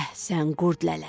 Əhsən, Qurd lələ!